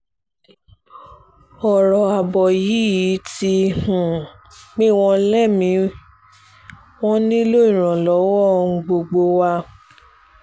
ọ̀rọ̀ ààbò yìí ti um pin wọ́n lémi-ín wọn nílò ìrànlọ́wọ́ um gbogbo wa